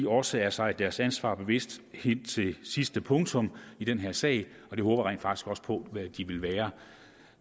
også er sig deres ansvar bevidst helt til sidste punktum i den her sag og det håber jeg rent faktisk også på at de vil være